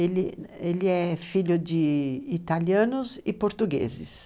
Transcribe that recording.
Ele é filho de italianos e portugueses.